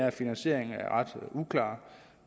at finansieringen er ret uklar